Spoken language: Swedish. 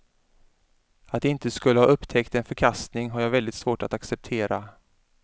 Att de inte skulle ha upptäckt en förkastning har jag väldigt svårt att acceptera.